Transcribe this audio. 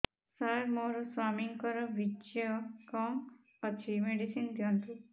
ସାର ମୋର ସ୍ୱାମୀଙ୍କର ବୀର୍ଯ୍ୟ କମ ଅଛି ମେଡିସିନ ଦିଅନ୍ତୁ